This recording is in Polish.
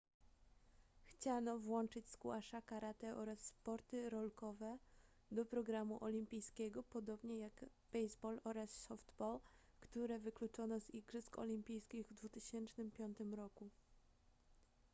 chciano włączyć squasha karate oraz sporty rolkowe do programu olimpijskiego podobnie jak baseball oraz softball które wykluczono z igrzysk olimpijskich w 2005 roku